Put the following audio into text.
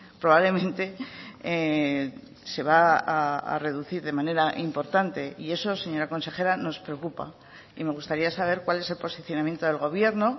probablemente se va a reducir de manera importante y eso señora consejera nos preocupa y me gustaría saber cuál es el posicionamiento del gobierno